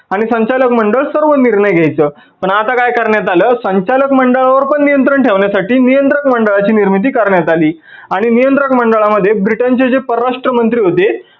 आणि संचालक मंडळ सर्व निर्णय घ्यायचं. पण आता काय करण्यात आल संचालक मंडळ वर पण नियंत्रण ठेवण्यासाठी नियंत्रण मंडळाची निर्मिती करण्यात आली आणि नियंत्रक मंडळामध्ये ब्रिटन चे जे परराष्ट्रामंत्री होते